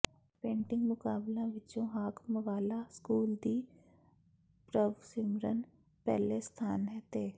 painting ਮੁਕਾਬਲਿਆਂ ਵਿੱਚੋਂ Hakamwala school ਦੀ ਪ੍ਰਭਸਿਮਰਨ ਪਹਿਲੇ ਸਥਾਨ ਤੇ